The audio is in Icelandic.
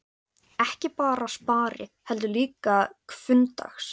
Ekki bara spari, heldur líka hvunndags.